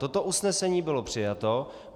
Toto usnesení bylo přijato.